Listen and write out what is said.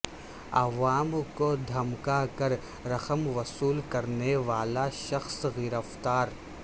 عوام کو دھمکا کر رقم وصول کرنے والا شخص گرفتار